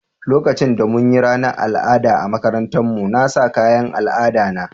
Lokacin da mun yi ranan al'ada a makarantan mu, na sa kayan al'ada na.